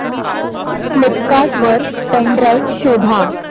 Flipkart वर pen drive शोधा